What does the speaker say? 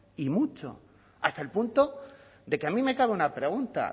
y mucho hasta el punto de que a mí me cabe una pregunta